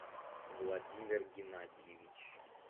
владимир геннадьевич